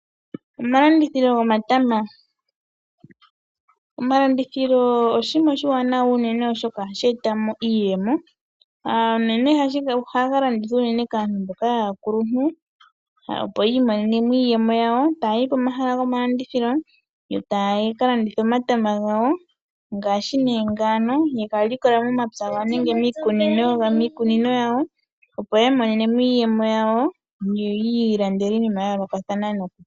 Omalandithilo oshinima oshiwanawa oshoka ohashi eta iiyemo. Omatama ohaga landithwa unene kaantu mboka aakuluntu opo yi imonene iiyemo yawo. Omatama ngano ohashi vulika yega likola momagumbo nenge miikunino yawo. Ohaya landitha opo yamone iiyemo ya vule oku ikwathela koompumbwe dhayooloka.